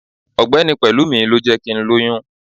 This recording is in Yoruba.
ọgbẹni pelúmí, lọ jé kí n loyún